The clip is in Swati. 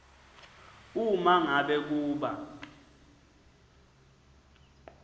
uma ngabe kuba